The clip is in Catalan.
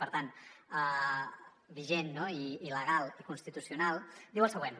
per tant vigent no i legal i constitucional diu el següent